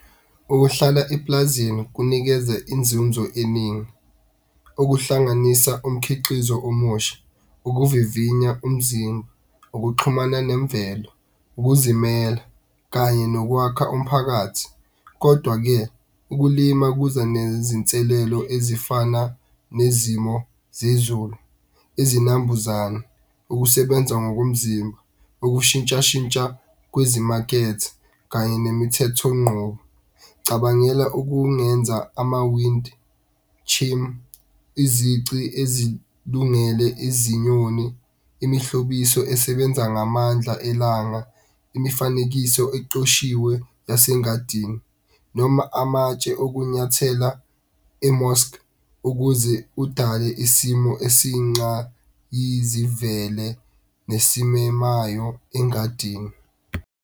Ukuhlala eplazini kunikeza inzunzo eningi, okuhlanganisa umkhiqizo omusha, ukuvivinya , ukuxhumana nemvelo, ukuzimela kanye nokwakha umphakathi. Kodwa-ke ukulima kuza nezinselelo ezifana nezimo zezulu, izinambuzane, ukusebenza ngokomzimba, ukushintshashintsha kwezimakethe kanye . Cabangela ukungenza ama-wind , izici ezilungele izinyoni, imihlobiso esebenza ngamandla elanga, imifanekiso eqoshiwe yasengadini. Noma amatshe okunyathela i-mosque, ukuze udale isimo esincayizivele nesimemayo engadini.